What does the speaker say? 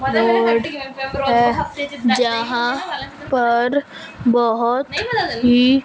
तो जहां पर बहोत ही--